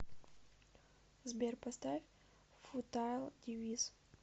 сбер поставь футайл девис